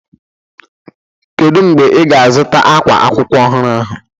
Kedu mgbe ị ga-azụta ákwá akwụkwọ ọhụrụ ahụ?